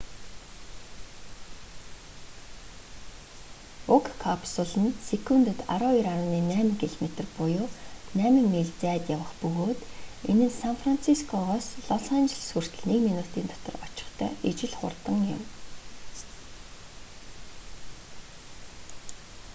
уг капсул нь секундэд 12,8 км буюу 8 миль зайд явах бөгөөд энэ нь сан францискогоос лос анжелос хүртэл нэг минутын дотор очихтой ижил хурдан юм